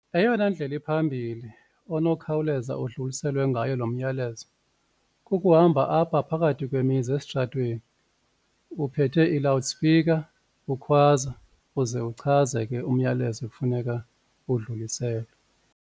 Eyona ndlela iphambili onokhawuleza udluliselwe ngayo loo myalezo kukuhamba apha phakathi kwemizi esitratweni uphethe i-loud speaker ukhwaza uze uchaze ke umyalezo ekufuneka udluliselwe.